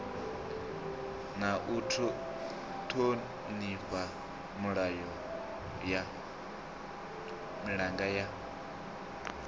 na u thonifha milanga ya